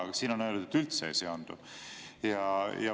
Aga siin on öeldud, et üldse ei seondu.